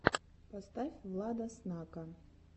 поставь влада снака